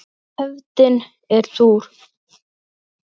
Hefndin er súr.